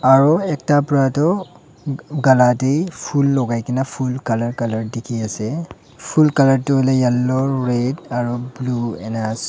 aru ekta kara toh gala tae phul lagai na phul colour dekhi ase phul colour toh yellow red aru blue enik ase--